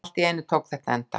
Allt í einu tók þetta enda.